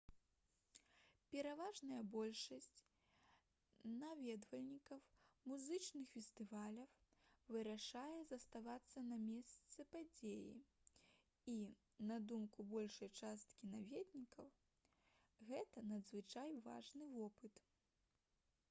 пераважная большасць наведвальнікаў музычных фестываляў вырашае заставацца на месцы падзеі і на думку большай часткі наведвальнікаў гэта надзвычай важны вопыт